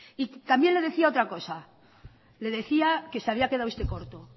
también le decía otra cosa le decía que se había quedado usted corto